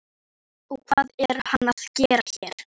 Þjóðólfur, spilaðu lag.